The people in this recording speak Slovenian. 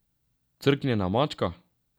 Crknjena mačka?